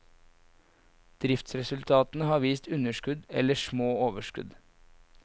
Driftsresultatene har vist underskudd eller små overskudd.